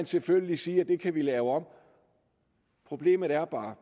selvfølgelig sige at det kan vi lave om problemet er bare